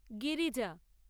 Girija